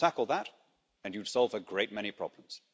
Tackle that and you'd solve a great many problems.